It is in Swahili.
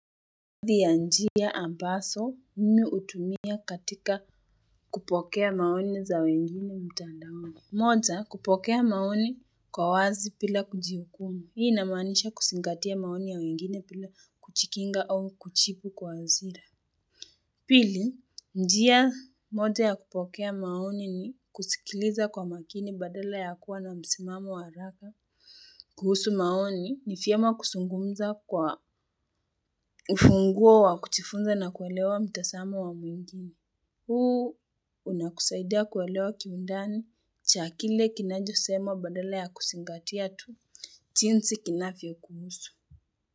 Baadhi ya njia ambaso mimi utumia katika kupokea maoni za wengine mtandaoni moja kupokea maoni kwa wazi bila kujihukumu Hii inamanisha kusingatia maoni ya wengine bila kuchikinga au kuchipu kwa azira Pili njia moja ya kupokea maoni ni kusikiliza kwa makini badala ya kuwa na msimamo wa araka kuhusu maoni ni fyema kusungumza kwa ufunguo wa kuchifunza na kuwelewa mtasamo wa mwingine. Huu unakusaidia kuelewa kiundani cha kile kinajosema badala ya kusingatia tu. Chinsi kinafvyo kuhusu.